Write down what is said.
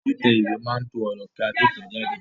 Títẹ̀ ìwé máa to ọ̀rọ̀ kí a tó tẹ̀ẹ́ jáde